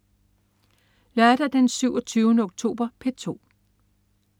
Lørdag den 27. oktober - P2: